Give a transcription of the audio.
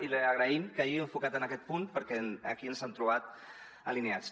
i li agraïm que s’hagi enfocat en aquest punt perquè aquí ens han trobat alineats